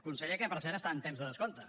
conseller que per cert està en temps de descompte